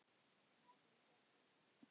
Námið gekk eftir því.